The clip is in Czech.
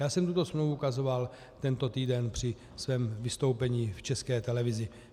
Já jsem tuto smlouvu ukazoval tento týden při svém vystoupení v České televizi.